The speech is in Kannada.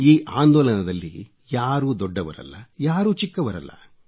ಈ ಆಂದೋಲನದಲ್ಲಿ ಯಾರೂ ದೊಡ್ಡವರಲ್ಲ ಯಾರೂ ಚಿಕ್ಕವರಲ್ಲ